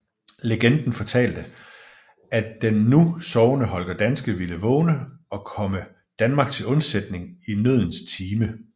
Legenden fortalte at den nu sovende Holger Danske ville vågne og komme Danmark til undsætning i nødens time